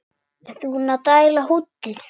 Ertu búinn að dælda húddið?